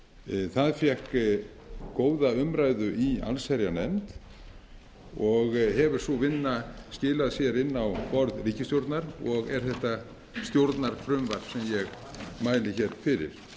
frumvarp það fékk góða umræðu í allsherjarnefnd og hefur sú vinna skilað sér inn á borð ríkisstjórnar og er þetta stjórnarfrumvarp sem ég mæli hér fyrir